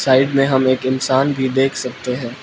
Side में हम एक इंसान भी देख सकते हैं।